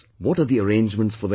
What are the arrangements for them